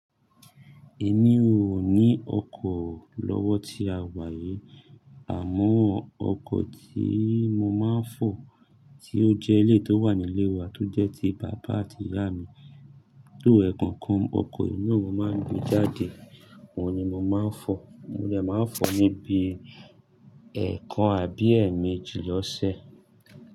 Èmi ò ní ọkọ̀ lọ́wọ́ tí a wà aí, àmọ́ ọkọ̀ tí mo máa ń fọ̀ tí ó jẹ́ ti bàbá àti ìyá mi, ẹ̀kọ́ kan ni mo máa ń gbé jáde, ohun ni mo máa ń fọ̀. Mo dè máa ń fọ̀ níbi ẹ̀ẹ̀kan àbí ẹ́ẹ̀ẹ̀méjì lọ́sẹ̀.